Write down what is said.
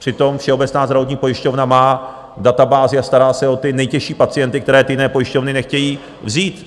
Přitom Všeobecná zdravotní pojišťovna má databázi a stará se o ty nejtěžší pacienty, které ty jiné pojišťovny nechtějí vzít.